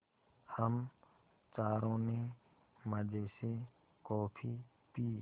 हम चारों ने मज़े से कॉफ़ी पी